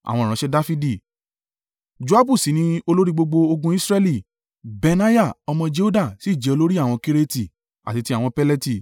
Joabu sì ni olórí gbogbo ogun Israẹli; Benaiah ọmọ Jehoiada sì jẹ́ olórí àwọn Kereti, àti ti àwọn Peleti.